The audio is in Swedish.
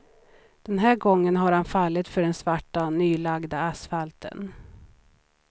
Den här gången har han fallit för den svarta, nylagda asfalten.